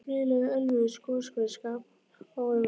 Grýla í Ölfusi, goshver skammt ofan við